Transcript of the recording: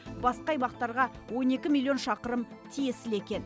басқа аймақтарға он екі миллион шақырым тиесілі екен